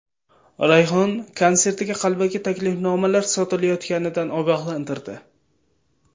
Rayhon konsertiga qalbaki taklifnomalar sotilayotganidan ogohlantirdi.